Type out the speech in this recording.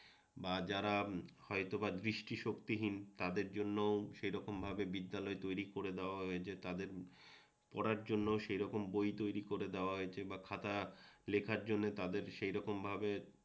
বা যারা হয়তোবা দৃষ্টিশক্তিহীন তাদের জন্যও সেইরকম ভাবে বিদ্যালয় তৈরি করে দেওয়া হয়েছে তাদের পড়ার জন্য সেই রকম বই তৈরি করে দেওয়া হয়েছে বা খাতা লেখার জন্য তাদের সেইরকমভাবে